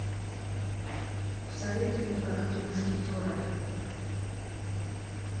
посоветуй мне как три мушкетера